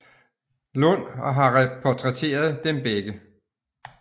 Lund og har portrætteret dem begge